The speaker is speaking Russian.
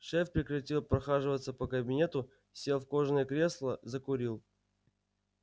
шеф прекратил прохаживаться по кабинету сел в кожаное кресло закурил